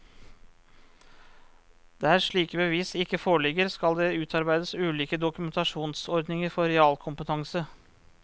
Der slike bevis ikke foreligger, skal det utarbeides ulike dokumentasjonsordninger for realkompetanse.